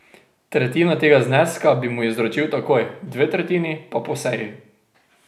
Tretjino tega zneska bi mu izročil takoj, dve tretjini pa po seji.